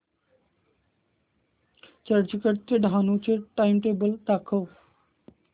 चर्चगेट ते डहाणू चे टाइमटेबल दाखव